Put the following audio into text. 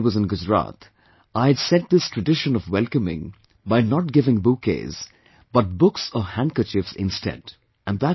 Because when I was in Gujarat, I had set this tradition of welcoming, by not giving bouquets, but books or handkerchiefs instead